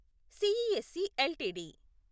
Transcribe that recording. CESC LTD